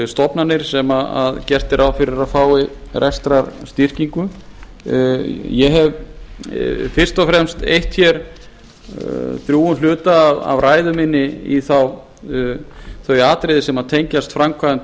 stofnanir sem gert er ráð fyrir að fái rekstrarstyrkingu ég hef fyrst og fremst eytt drjúgum hluta af ræðu minni í þau atriði sem tengjast framkvæmd